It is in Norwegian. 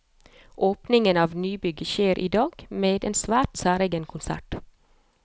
Åpningen av nybygget skjer i dag, med en svært særegen konsert.